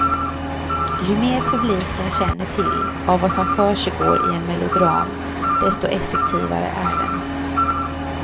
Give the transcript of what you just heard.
Ju mer publiken känner till av vad som försigår i en melodram, desto effektivare är den.